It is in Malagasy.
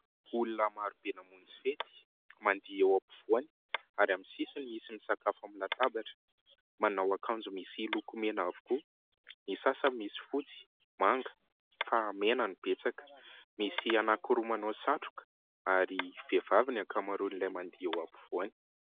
Olona marobe namonjy fety, mandihy eo ampovoany ary amin'ny sisiny misy misakafo amin'ny latabatra. Manao akanjo misy loko mena avokoa. Ny sasany misy fotsy, manga, fa mena no betsaka. Misy anankiroa manao satroka ary vehivavy ny ankamaroan'ilay mandihy eo ampovoany.